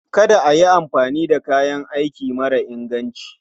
Kada a yi amfani da kayan aiki mara inganci.